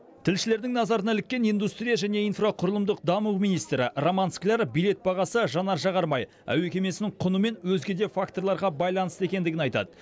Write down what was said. тілшілердің назарына іліккен индустрия және инфрақұрылымдық даму министрі роман скляр билет бағасы жанар жағармай әуе кемесінің құны мен өзге де факторларға байланысты екендігін айтады